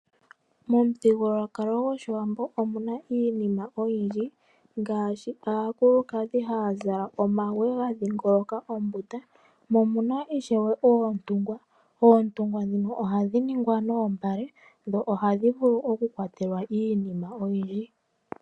Momuthigululwakalo gwoshiwambo omuna iinima oyindji ngaashi aakulukadhi haya zala omagwe ga dhingoloka mombunda mo omuna oontungwa. Oontungwa ndhono ohadhi ningwa noombale dho ohadhi vulu oku kwatelwa iinima oyindji